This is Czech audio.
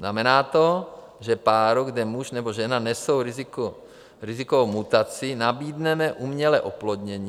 Znamená to, že páru, kde muž nebo žena nesou riziko mutací, nabídneme umělé oplodnění.